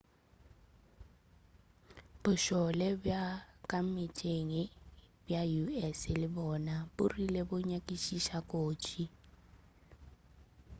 bošole bja ka meetseng bja us le bona bo rile bo nyakišiša kotsi